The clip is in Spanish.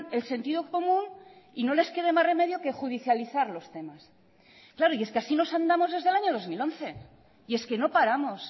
el sentido común y no le quede más remedio que judicializar los temas claro y es que así nos andamos desde el año dos mil once y es que no paramos